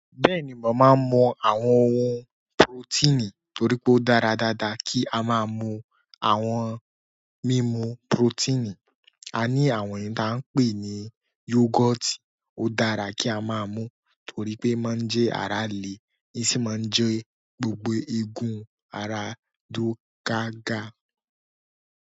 Bẹ́ẹ̀ni, mo máa ń mu àwọn ohun porotínì torí pé ó dára dáadáa kí a máa mu àwọn mímú porotínì. A ní àwọn èyí ta ń pè ní yogoti, ó dára kí a máa mu torí pé nnmáa jẹ́ ara le, i sì máa ń jẹ́ gbogbo egun, ara dúró gaga.